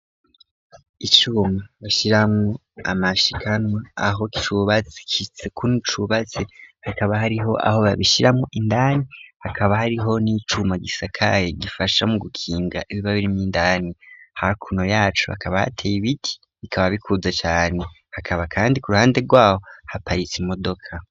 Icuma bashiramwo amashikanwa aho cubatsi kitsikuni cubatse hakaba hariho aho babishiramwo indani hakaba hariho n'icuma gisakaye gifasha mu gukinga ibiba biri mw'indani hakuno yacu bakabateye ibiti bikaba bikuza cane hakaba, kandi ku ruhande rwawo parisi modoka.